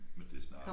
Men det snart